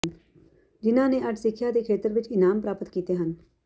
ਜਿਨ੍ਹਾਂ ਨੇ ਅੱਜ ਸਿੱਖਿਆ ਦੇ ਖੇਤਰ ਵਿੱਚ ਇਨਾਮ ਪ੍ਰਾਪਤ ਕੀਤੇ ਹਨ